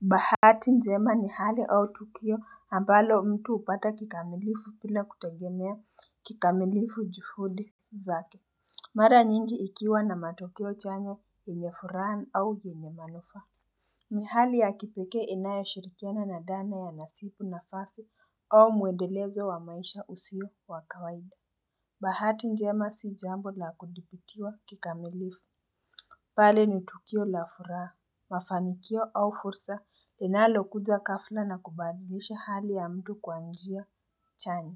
Bahati njema ni hali au tukio, ambalo mtu upata kikamilifu bila kutegemea kikamilifu juhudi zake. Mara nyingi ikiwa na matokeo chanya yenye furaha au yenye manufaa ni hali ya kipekee inayo shirikiana na dhana ya nasipu nafasi au muendelezo wa maisha usio wakawaida Bahati njema si jambo la kudhibitiwa kikamilifu pale ni tukio la furaha, mafanikio au fursa linalo kuja ghafla na kubadilisha hali ya mtu kwa njia chanya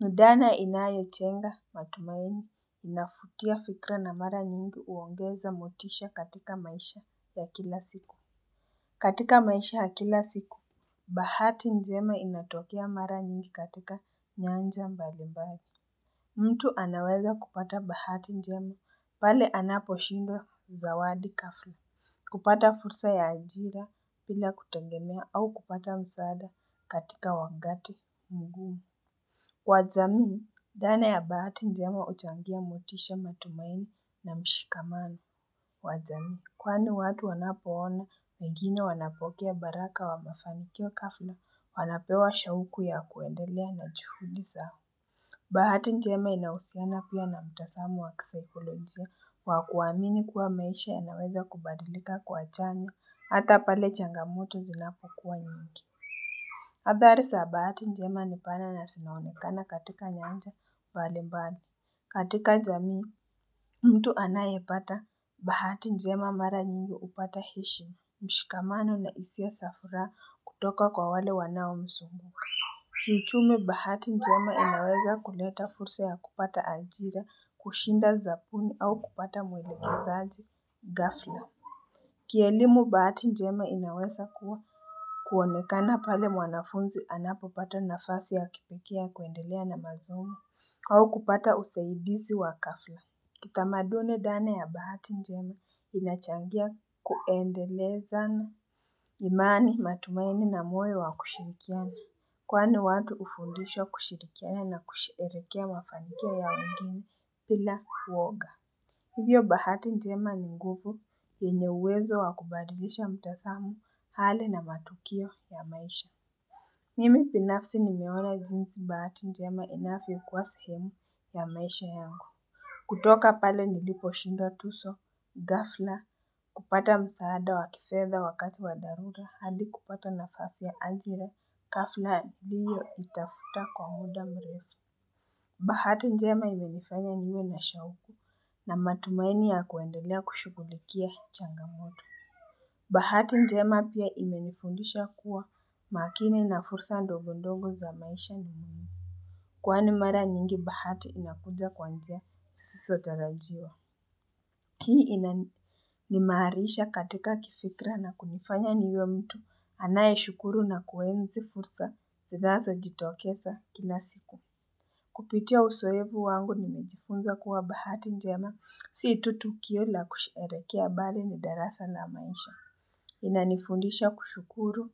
ni dhana inayo jenga matumaini, inavutia fikira na mara nyingi huongeza motisha katika maisha ya kila siku. Katika maisha ya kila siku, Bahati njema inatokea mara nyingi katika nyanja mbalimbali mtu anaweza kupata bahati njema, pale anaposhinda zawadi ghafla. Kupata fursa ya ajira bila kutegemea au kupata msaada katika wakati mgumu. Kwa jamii, dhana ya bahati njema uchangia motisha, matumaini na mshikamano. Kwa jamii, kwani watu wanapoona wengine wanapokea baraka wa mafanikio ghafla wanapewa shauku ya kuendelea na juhuli zao. Bahati njema inahusiana pia na mtazamo wakisaikolojia wa kuwamini kuwa maisha yanaweza kubadilika kwa chanya, hata pale changamoto zinapo kuwa nyingi. Habari za bahati njema nipana na zinaonekana katika nyanja mbali mbali. Katika jamii, mtu anayepata. Bahati njema mara nyingi hupata hishi, mshikamano, nahisia za furaha kutoka kwa wale wanaomsumbua. Kiuchumi bahati njema inaweza kuleta fursa ya kupata ajira, kushinda zapuni au kupata mwilekezaji, ghafla. Kielimu bahati njema inaweza kuwa kuonekana pale mwanafunzi anapopata nafasi ya kipekee ya kuendelea na masomo au kupata usaidizi wa ghafla. Kitamaduni dhana ya bahati njema inachangia kuendeleza na imani matumaini na mwoyo wa kushirikiana. Kwani watu hufundishwa kushirikiana na kusherehekea mafanikio ya wangine bila uoga. Hivyo bahati njema ni nguvu yenye uwezo wakubadilisha mtazamo hali na matukio ya maisha. Mimi binafsi nimeona jinsi bahati njema inavyokua sehemu ya maisha yangu. Kutoka pale niliposhinda tuzo ghafla, kupata msaada wakifedha wakati wadharura, hadi kupata nafasi ya ajira ghafla niliyo itafuta kwa muda mrefu Bahati njema imenifanya niwe na shauku na matumaini ya kuendelea kushugulikia changamoto Bahati njema pia imenifundisha kuwa makini na fursa ndogo ndogo za maisha ni mwihimu kwani mara nyingi bahati inakuja kwa njia siziso tarajiwa Hii inaimarisha katika kifikra na kunifanya niwe mtu anae shukuru na kuenzi fursa, zinazo jitokeza kila siku. Kupitia uzoevu wangu nimejifunza kuwa bahati njema, sio tu tukio la kusherekea bali ni darasa na maisha. Inanifundisha kushukuru,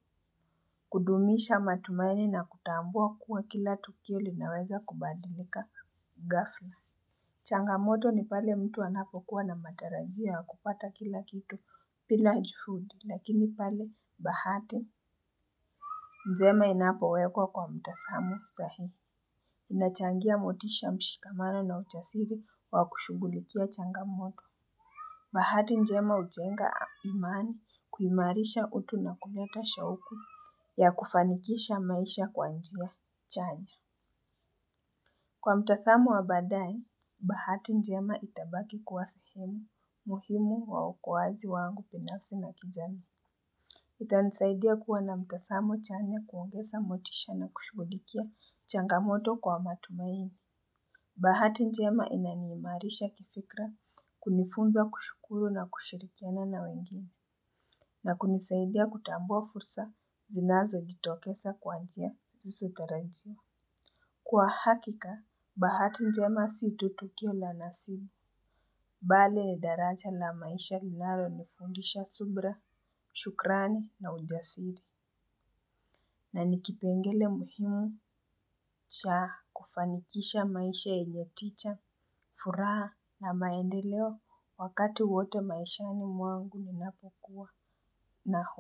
kudumisha matumaini na kutambua kuwa kila tukio linaweza kubadilika ghafla. Changamoto ni pale mtu anapokuwa na matarajio ya kupata kila kitu bila juhudi, lakini pale bahati. Njema inapowekwa kwa mtazamo sahihi. Inachangia motisha mshikamano na ujasiri wa kushugulikia changamoto. Bahati njema ujenga imani kuimarisha utu na kuleta shauku ya kufanikisha maisha kwa njia chanya. Kwa mtazamo wa badaaye, bahati njema itabaki kuwa sehemu muhimu wa ukuaji wangu binafsi na kijamii. Itanisaidia kuwa na mtazamo chanya, kuongeza motisha na kushughulikia changamoto kwa matumaini. Bahati njema inaniimarisha kifikra kunifunza kushukuru na kushirikiana na wengine na kunisaidia kutambua fursa zinazo jitokeza kwa njia zisizotarajiwa. Kwa hakika, bahati njema situ tukio la nasibu, bali ni daraja la maisha linalo nifundisha subra, shukrani na ujasiri. Na nikipengele muhimu cha kufanikisha maisha enyeticha furaha na maendeleo wakati wote maishani mwangu ninapokuwa na ho.